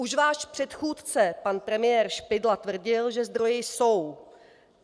Už váš předchůdce pan premiér Špidla tvrdil, že zdroje jsou.